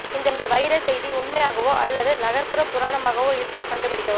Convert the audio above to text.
இந்த வைரஸ் செய்தி உண்மையாகவோ அல்லது நகர்ப்புற புராணமாகவோ இருந்தால் கண்டுபிடிக்கவும்